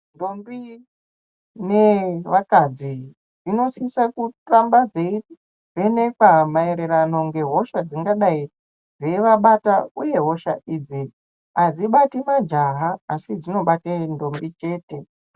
Ntombi ne vakadzi dzinosisa kuramba dzeivhenekwa mayererano ngehosha dzingadai dzeivabata uye hosha idzi hadzibati majaha asi dzinobate ntombi chete.